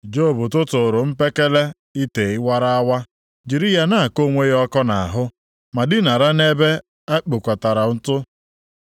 Job tụtụụrụ mpekele ite wara awa, jiri ya na-akọ onwe ya ọkọ nʼahụ, ma dinara nʼebe e kpokọtara ntụ.